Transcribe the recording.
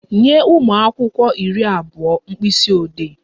Nye ụmụ akwụkwọ iri abụọ mkpisiodee!